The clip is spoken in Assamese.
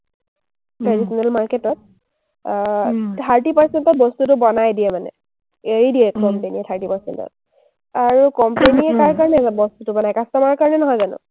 traditional market ত, আহ thirty percent ত বস্তুটো বনাই দিয়ে মানে, এৰি দিয়ে company য়ে thirty percent ত। আৰু company কাৰ কাৰণে বাৰু বস্তুটো বনাই? customer ৰ কাৰণে নহয় জানো?